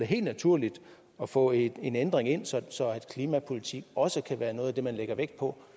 helt naturligt at få en ændring ind så klimapolitik også kan være noget af det man lægger vægt på